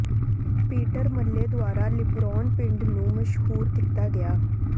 Peter Mayle ਦੁਆਰਾ Luberon ਪਿੰਡ ਨੂੰ ਮਸ਼ਹੂਰ ਕੀਤਾ ਗਿਆ